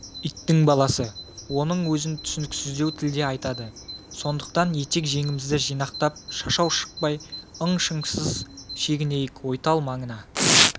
иттің баласы оның өзін түсініксіздеу тілде айтады сондықтан етек-жеңімізді жинақтап шашау шықпай ың-шыңсыз шегінейік ойтал маңына